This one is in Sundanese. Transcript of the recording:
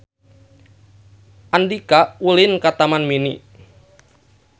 Andika ulin ka Taman Mini